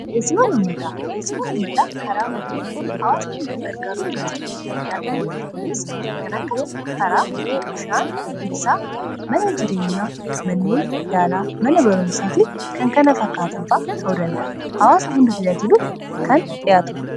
dheesii wanummataa karaa mootummaatiin hawaasa hunda gargaaruuf jecha kan dhi'aatu dha kunis kan akka karaa bishaan ibsaa mana jireenyaa manneen yaalaa mana barumsaa fi kan kana fakkaatanfaa ta'u danda hawaasa hunda tajaajiluuf kan dhi'aatuudha